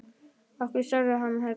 Af hverju sagði hann þetta?